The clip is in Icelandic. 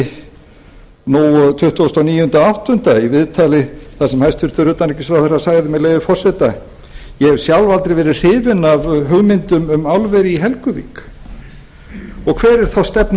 í viðskiptablaðinu nú tuttugu og níu átta í viðtali þar sem utanríkisráðherra sagði með leyfi forseta ég hef sjálf aldrei verið hrifin af hugmyndum um álver í helguvík hver er þá stefna